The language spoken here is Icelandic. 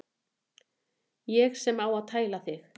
Ég sem á að tæla þig.